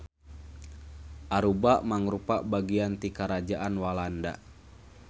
Aruba mangrupa bagian ti Karajaan Walanda.